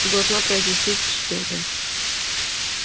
ты должна произвести впечатление